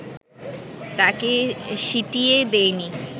তাঁকে সিটিয়ে দেয়নি